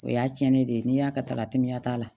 O y'a cɛnnen de ye n'i y'a ka taga teliya t'a la